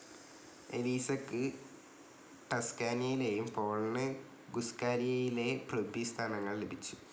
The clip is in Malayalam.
എലീസക്ക് ടസ്കാനിയിലേയും പോളിന് ഗുസ്ഖാലിയയിലെ പ്രഭ്വി സ്ഥാനങ്ങൾ ലഭിച്ചു.